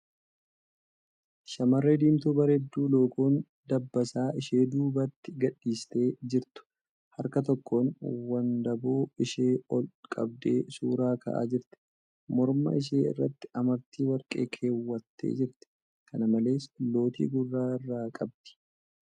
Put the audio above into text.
Shamarree diimtuu bareedduu lookoon dabbasaa ishee duubatti gadhiistee jirtu harka tokkoon wandaboo ishee ol qabdee suura ka'aa jirti . Morma ishee irratti amartii warqee keewwattee jirti . Kana malees, lootii gurra irraa qabdi .